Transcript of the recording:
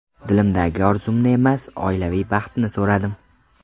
Dilimdagi orzumni emas, oilaviy baxtni so‘radim.